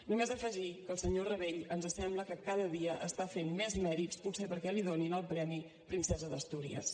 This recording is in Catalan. només afegir que el senyor rabell ens sembla que cada dia està fent més mèrits potser perquè li donin el premi princesa d’astúries